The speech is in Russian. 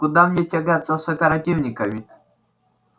куда мне тягаться с оперативниками